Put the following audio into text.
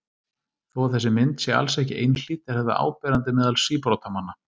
Þó að þessi mynd sé alls ekki einhlít er þetta áberandi meðal síbrotamanna.